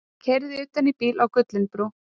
Keyrði utan í bíl á Gullinbrú